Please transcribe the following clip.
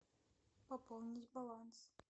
пополнить баланс